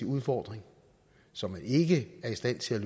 udfordring som man ikke er stand til at